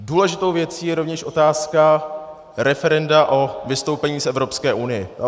Důležitou věcí je rovněž otázka referenda o vystoupení z Evropské unie.